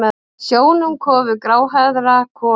Nær sjónum kofi gráhærðrar konu.